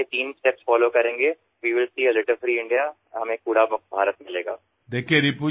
যদি আমি এই তিনিটা পৰ্যায় পালন কৰো তেন্তে আমি আৱৰ্জনামুক্ত ভাৰত লাভ কৰিব পাৰিম